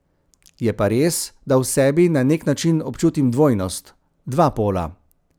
Je pa res, da v sebi na nek način občutim dvojnost, dva pola.